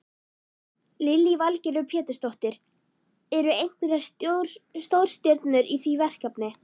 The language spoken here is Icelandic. Lillý Valgerður Pétursdóttir: Eru einhverjar stórstjörnur í því verkefni?